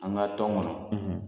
An ka tɔn kɔnɔ